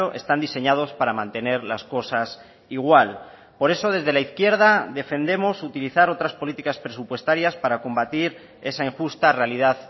están diseñados para mantener las cosas igual por eso desde la izquierda defendemos utilizar otras políticas presupuestarias para combatir esa injusta realidad